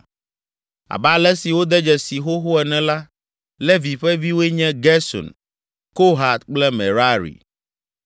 Abe ale si wode dzesii xoxo ene la, Levi ƒe viwoe nye, Gerson, Kohat kple Merari.